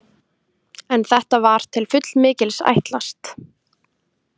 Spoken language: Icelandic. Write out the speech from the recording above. En þetta var til fullmikils ætlast.